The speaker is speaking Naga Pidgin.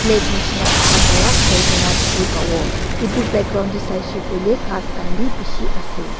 plate nishena ekta pura khaigina dikhi pabo etu background de saishe koile ghas khan bi bishi ase.